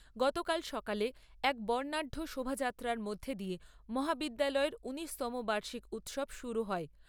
গতকাল সকালে এক বর্ণাঢ্য শোভাযাত্রার মধ্য দিয়ে মহাবিদ্যালয়ের ঊনিশতম বার্ষিক উৎসব শুরু হয়।